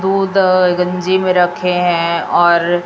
दूध गंजी में रखे हैं और--